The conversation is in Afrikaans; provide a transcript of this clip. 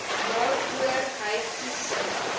waaroor hy toesig